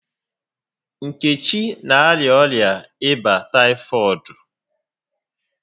Nkechi n'arịa ọrịa ịba taịfọdụ